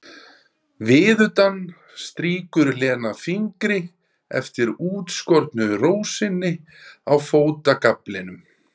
Viðutan strýkur Lena fingri eftir útskornu rósinni á fótagaflinum.